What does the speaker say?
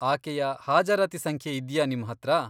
ಆಕೆಯ ಹಾಜರಾತಿ ಸಂಖ್ಯೆ ಇದ್ಯಾ ನಿಮ್ಹತ್ರ?